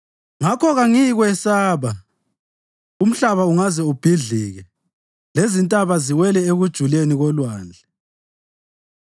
Ngakho kangiyikwesaba, umhlaba ungaze ubhidlike lezintaba ziwele ekujuleni kolwandle,